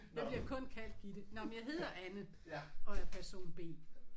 Jeg bliver kun kaldt Gitte. Nåh men jeg hedder Anne og er person B